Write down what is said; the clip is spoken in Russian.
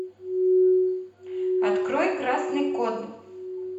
открой красный код